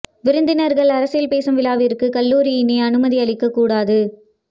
விருந்தினர்கள் அரசியல் பேசும் விழாவிற்கு கல்லூரி இனி அனுமதி அளிக்க கூடாது